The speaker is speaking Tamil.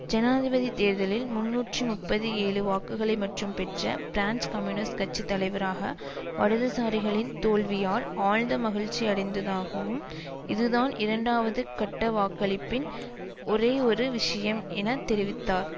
ஜனாதிபதி தேர்தலில் முன்னூற்றி முப்பது ஏழு வாக்குகளை மற்றும் பெற்ற பிரான்ஸ் கம்யூனிஸ்ட் கட்சி தலைவராக வலதுசாரிகளின் தோல்வியால் ஆழ்ந்த மகிழ்ச்சியடைந்ததாகவும் இதுதான் இரண்டாவது கட்டவாக்களிப்பின் ஒரேயொரு விஷயம் என தெரிவித்தார்